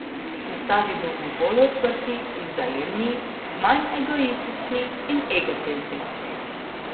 Postali bomo bolj odprti in vzajemni, manj egoistični in egocentrični.